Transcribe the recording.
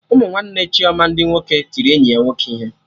Ụmụ nwanne Chioma ndị nwoke tiri enyi ya nwoke ihe